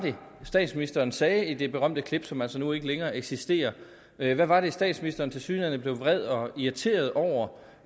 statsministeren sagde i det berømte klip som jo altså nu ikke længere eksisterer hvad var det statsministeren tilsyneladende blev vred og irriteret over